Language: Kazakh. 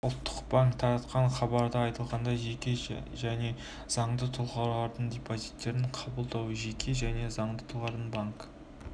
ұлттық банк таратқан хабарда айтылғандай жеке және заңды тұлғалардың депозиттерін қабылдауға жеке және заңды тұлғалардың банк